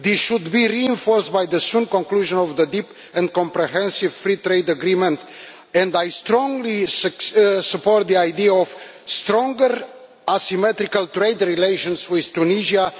This should be reinforced by the conclusion soon of the deep and comprehensive free trade agreement and I strongly support the idea of stronger asymmetrical trade relations with Tunisia.